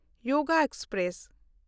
ᱭᱳᱜᱽ express